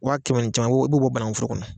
Waa kɛmɛ ni caman i b'o bɔ bananguforor kɔnɔ